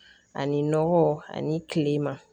Ani nɔgɔ ani kilema